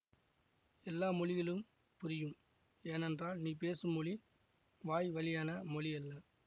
எல்லா மொழிகளும் புரியும் ஏனென்றால் நீ பேசும் மொழி வாய் வழியான மொழியல்ல